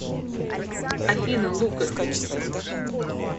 афина лукас